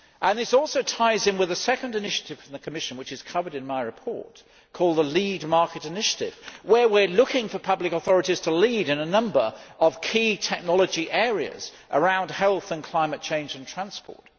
This also ties in with the second initiative from the Commission covered in my report, the lead market initiative', where we are looking for public authorities to lead in a number of key technology areas around health and climate change in transport.